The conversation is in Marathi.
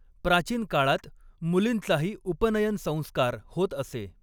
प्राचीन काळात मुलींचाही उपनयन संस्कार होत असे.